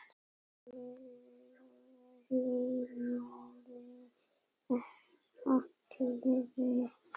Lillu hlýnaði allri.